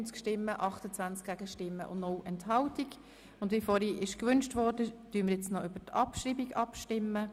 Es wird gewünscht, dass wir auch über die Abschreibung abstimmen.